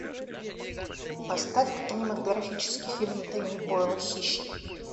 поставь ка кинематографический фильм дэнни бойла хищник